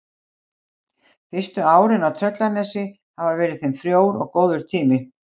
Fyrstu árin í Tröllanesi hafa verið þeim frjór og góður tími.